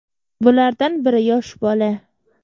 Bulardan biri yosh bola.